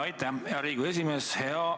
Aitäh, hea Riigikogu esimees!